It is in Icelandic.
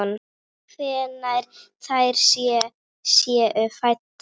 Hvenær þær séu fæddar!